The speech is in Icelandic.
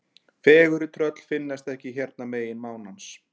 Fegurri tröll finnast ekki hérna megin mánans.